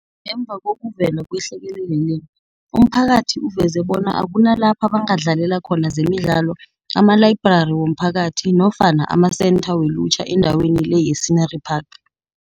Ngemva kokuvela kwehlekelele le, umphakathi uveze bona akunalapha bangadlalela khona zemidlalo, amalayibrari womphakathi, nofana amasentha welutjha endaweni le ye-Scenery Park.